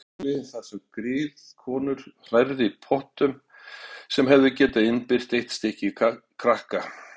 Og eldaskáli þar sem griðkonur hrærðu í pottum sem hefðu getað innbyrt eitt stykki krakka.